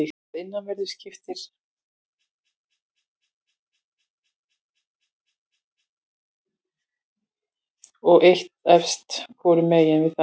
Að innanverðu skiptir skilrúm honum í tvennt og er eitt eista hvorum megin við það.